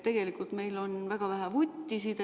Tegelikult meil on väga vähe vuttisid.